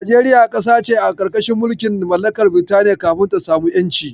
Najeriya ƙasa ce a ƙarƙashin mulkin mallakar Birtaniya kafin ta samu ƴanci.